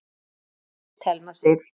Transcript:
Þín dóttir, Thelma Sif.